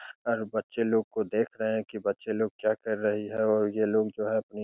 और बच्चे लोग को देख रहे हैं की बच्चे लोग क्या कर रही हैं और ये लोग जो है अपनी --